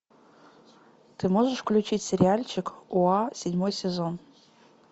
ты можешь включить сериальчик гоа седьмой сезон